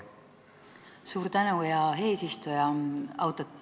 Suur tänu, hea eesistuja!